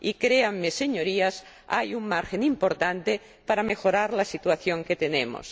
Y, creánme, señorías, hay un margen importante para mejorar la situación que tenemos.